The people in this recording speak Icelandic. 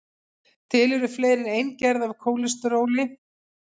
til eru fleiri en ein gerð af kólesteróli